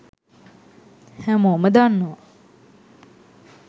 හැමෝම දන්නවා